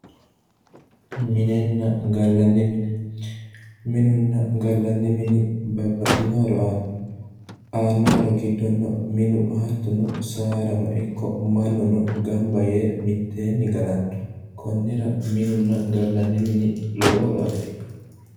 MInenna gallanni mine, minunna gallanni mini babbaxino horo aano, aano horo giddonno minu hattono saadano ikko mannuno gamba yee mitteenni gallano konnira minunna gallanni mini lowo horo afirinno.